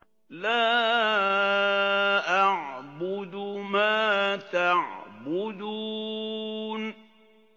لَا أَعْبُدُ مَا تَعْبُدُونَ